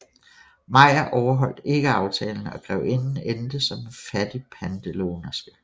Mayer overholdt ikke aftalen og grevinden endte som en fattig pantelånerske